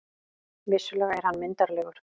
Vissulega er hann myndarlegur.